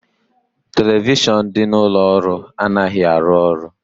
Televishion dị n'ụlọ ọrụ anaghị arụ ọrụ